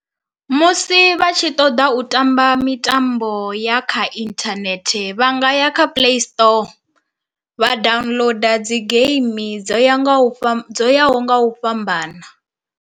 Musi vha tshi ṱoḓa u tamba mitambo ya kha inthanethe vha nga ya kha play store, vha downloader dzi geimi dzo ya nga u fha dzo yaho nga u fhambana.